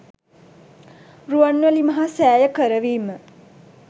රුවන්මැලි මහා සෑය කරවීම